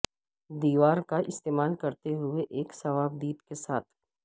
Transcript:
دیوار کا استعمال کرتے ہوئے ایک صوابدید کے ساتھ